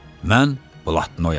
mən blatnoyam.